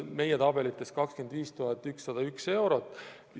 Meie tabelites on see 25 101 eurot.